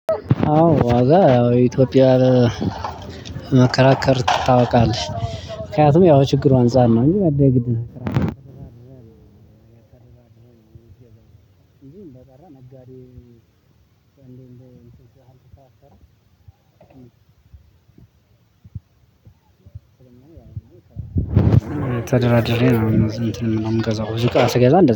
አዎ ዋጋ ያው ኢትዮጵያ መከራከር ታውቃለች ምክንያቱም ያው ችግሩ አንፃር እንጂ አንደተራ ነጋዴ እንደ እንትን ስትል አልሰራም ተደራድሬ ነው። እንትን ነው የምገዛው ብዙ እቃ ስገዛ። እንደዛ